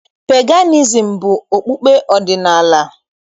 Peganizim bụ okpukpe ọdịnaala.